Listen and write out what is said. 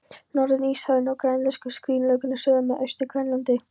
Norður-Íshafinu og úr grænlensku skriðjöklunum suður með Austur-Grænlandi.